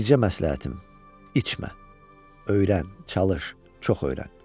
Bircə məsləhətim: içmə, öyrən, çalış, çox öyrən.